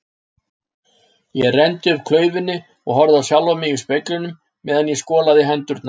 Ég renndi upp klaufinni og horfði á sjálfan mig í speglinum meðan ég skolaði hendurnar.